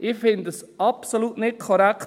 – Ich finde es absolut nicht korrekt.